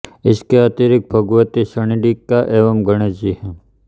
इसके अतिरिक्त भगवती चण्डिका एवं गणेश जी हैं